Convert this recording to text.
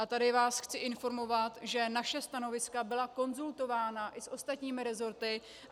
A tady vás chci informovat, že naše stanoviska byla konzultována i s ostatními rezorty.